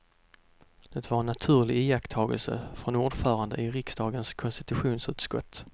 Det var en naturlig iakttagelse från ordföranden i riksdagens konstitutionsutskott.